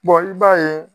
i b'a ye